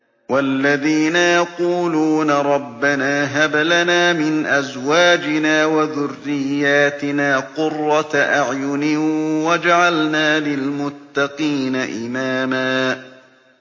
وَالَّذِينَ يَقُولُونَ رَبَّنَا هَبْ لَنَا مِنْ أَزْوَاجِنَا وَذُرِّيَّاتِنَا قُرَّةَ أَعْيُنٍ وَاجْعَلْنَا لِلْمُتَّقِينَ إِمَامًا